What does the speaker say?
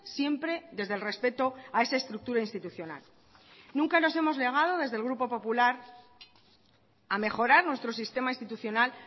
siempre desde el respeto a esa estructura institucional nunca nos hemos negado desde el grupo popular a mejorar nuestro sistema institucional